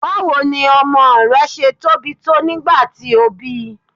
Báwo ni ọmọ rẹ ṣe tóbi tó nígbà tí o bíi?